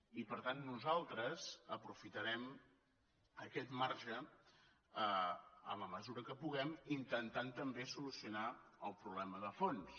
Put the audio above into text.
i per tant nosaltres aprofitarem aquest marge en la mesura que puguem intentant també solucionar el problema de fons